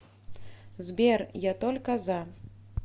сбер я только за